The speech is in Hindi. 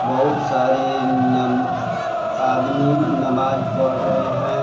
बहुत सारे नम आदमी नमाज पढ़ रहे हैं।